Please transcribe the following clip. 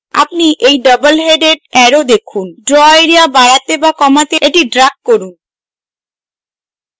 আপনি একটি double headed arrow দেখেন draw এরিয়া বাড়াতে বা কমাতে এটি drag করুন